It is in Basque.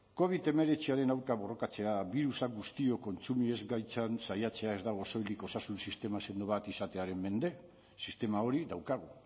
covid hemeretziaren aurka borrokatzea birusak guztiok kontsumi ez gaitzan saiatzea ez dago soilik osasun sistema sendo bat izatearen mende sistema hori daukagu